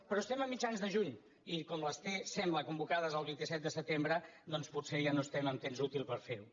però estem a mitjans de juny i com que les té sembla convocades el vint set de setembre doncs potser ja no estem en temps útil per fer ho